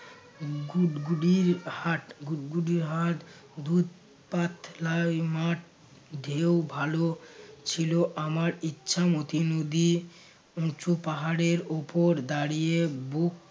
গুডগুদীর হাট গুডগুদীর হাট দুধ পাতলা মাঠ ঢেউ ভালো ছিল আমার ইচ্ছা মতো নদী উঁচু পাহাড়ের উপর দাঁড়িয়ে বুক